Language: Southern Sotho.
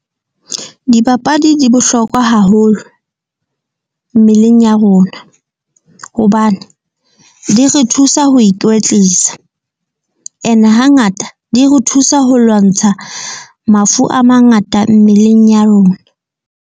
Dipapadi di bohlokwa haholo mmeleng ya rona, hobane di re thusa ho ikwetlisa, ene hangata di re thusa ho lwantsha mafu a mangata mmeleng ya rona.